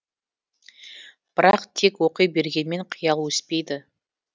бірақ тек оқи бергенмен қиял өспейді